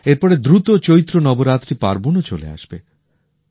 এর পরে দ্রুত চৈত্র নবরাত্রি পার্বণও চলে আসবে